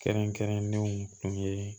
Kɛrɛnkɛrɛnnenw kun ye